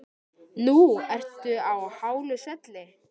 Nú fyrst ertu á hálu svelli.